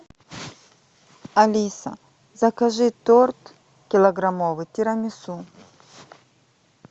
алиса закажи торт килограммовый тирамису